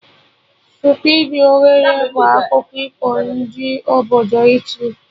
Stupidi ogre' bụ akụkọ ifo ndị obodo Italy